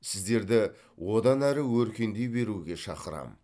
сіздерді одан әрі өркендей беруге шақырамын